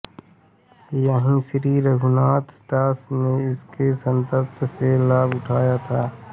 यहीं श्री रघुनाथदास ने इनके सत्संग से लाभ उठाया था